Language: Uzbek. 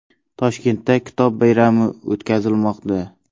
Toshkentda kitob bayrami o‘tkazilmoqda .